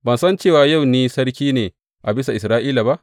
Ban san cewa yau ni sarki ne a bisa Isra’ila ba?